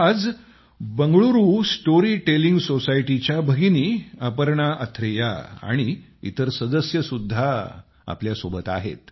आज Bengaluru storytelling society च्या भगिनी अपर्णा अथ्रेया आणि इतर सदस्य सुद्धा आपल्या सोबत आहेत